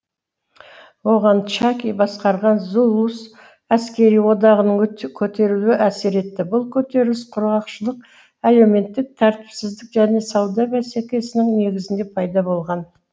оған чаки басқарған зулус әскери одағының көтерілуі әсер етті бұл көтеріліс құрғақшылық әлеуметтік тәртіпсіздік және сауда бәсекесінің негізінде пайда болған